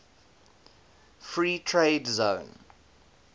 free trade zone